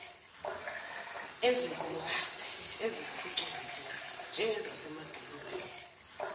ezinkulukazi eziphucuzekile njengezasemadolobheni